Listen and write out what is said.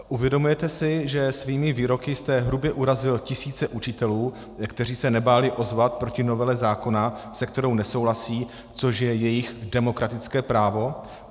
Uvědomujete si, že svými výroky jste hrubě urazil tisíce učitelů, kteří se nebáli ozvat proti novele zákona, se kterou nesouhlasí, což je jejich demokratické právo?